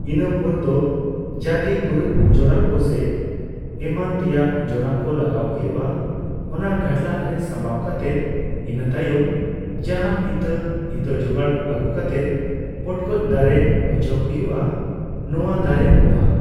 ᱤᱱᱟᱹ ᱯᱚᱨᱫᱚ ᱡᱟᱜᱮ ᱜᱩᱨᱤᱡ ᱡᱚᱨᱟᱠᱚ ᱥᱮ ᱮᱢᱟᱱ ᱛᱮᱭᱟᱜ ᱡᱚᱨᱟᱠᱚ ᱞᱟᱜᱟᱣ ᱦᱩᱭᱩᱜᱼᱟ ᱚᱱᱟ ᱜᱷᱟᱹᱰᱞᱟᱜ ᱨᱮ ᱥᱟᱸᱵᱟᱣ ᱠᱟᱛᱮᱫᱤᱱᱟᱹ ᱛᱟᱭᱚᱢ ᱡᱟᱦᱟᱸ ᱤᱛᱟᱹ ᱤᱛᱟᱹ ᱡᱚᱜᱟᱲ ᱟᱹᱜᱩ ᱠᱟᱛᱮᱫ ᱯᱚᱴᱠᱚᱡ ᱫᱟᱨᱮ ᱦᱚᱪᱚᱭ ᱦᱩᱭᱩᱜᱼᱟ ᱱᱚᱣᱟ ᱫᱟᱨᱮ ᱯᱚᱦᱟ